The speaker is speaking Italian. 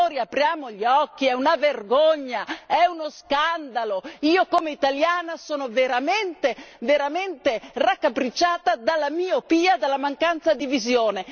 Signori, apriamo gli occhi è una vergogna, uno scandalo, io come italiana sono veramente raccapricciata dalla miopia, dalla mancanza di visione.